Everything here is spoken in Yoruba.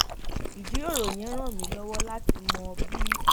ìjíròrò yẹn ràn mí lówó láti mọ bí